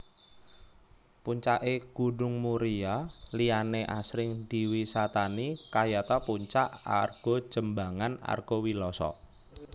Puncake Gunung Muria liyane asring diwisatani kayata Puncak Argojembangan Argowiloso